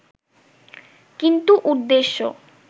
কিন্তু উদ্দেশ্য